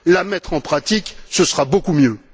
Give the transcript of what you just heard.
la mettre en pratique, ce sera beaucoup mieux.